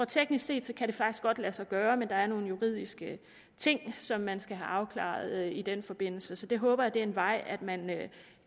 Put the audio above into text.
teknisk set faktisk godt kan lade sig gøre men der er nogle juridiske ting som man skal have afklaret i den forbindelse så jeg håber at det er en vej man